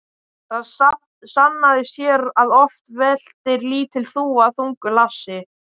Það sannaðist hér að oft veltir lítil þúfa þungu hlassi.